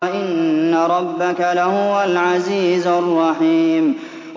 وَإِنَّ رَبَّكَ لَهُوَ الْعَزِيزُ الرَّحِيمُ